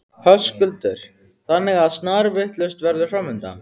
Höskuldur: Þannig að snarvitlaust veður framundan?